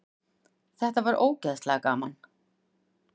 Það var ógeðslega gaman.